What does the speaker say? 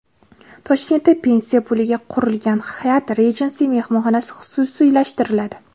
Toshkentda pensiya puliga qurilgan Hyatt Regency mehmonxonasi xususiylashtiriladi.